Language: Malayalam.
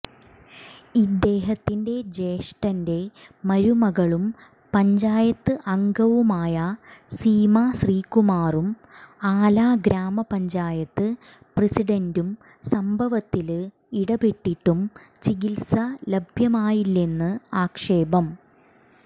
ഇദ്ദേഹത്തിന്റെ ജ്യേഷ്ഠന്റെ മരുമകളും പഞ്ചായത്ത് അംഗവുമായ സീമാ ശ്രീകുമാറും ആലഗ്രാമപഞ്ചായത്ത് പ്രസിഡന്റും സംഭവത്തില് ഇടപെട്ടിട്ടും ചികിത്സ ലഭ്യമായില്ലെന്ന് ആക്ഷേപം